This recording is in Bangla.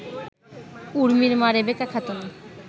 উর্মির মা রেবেকা খাতুন